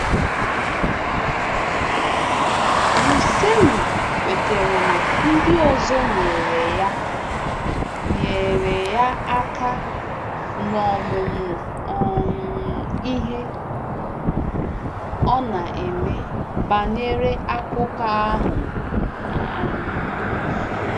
Russellu kwetara na ndị ọzọ nyere ya nyere ya aka n’ọmụmụ um ihe ọ na-eme banyere akụkọ ahụ. um